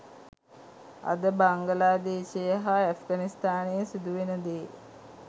අද බංගලාදේශයේ හා ඇෆ්ගනිස්ථානයේ සිදුවෙන දේ